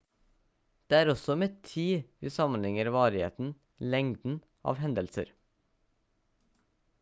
det er også med tid vi sammenligner varigheten lengden av hendelser